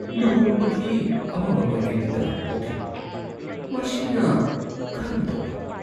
"ꯂꯨꯍꯣꯡꯕꯒꯤ ꯑꯃꯝꯕ ꯃꯥꯏꯀꯩꯗ ꯇꯔꯥꯝꯅ ꯑꯣꯛꯂꯤ" ꯃꯁꯤꯅ ꯀꯔꯝ ꯇꯧꯕ ꯫